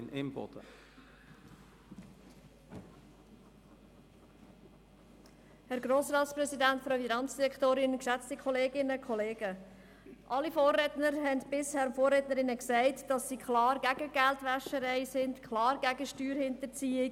Alle Vorrednerinnen und Vorredner haben erklärt, sie seien gegen Geldwäscherei und klar gegen Steuerhinterziehung.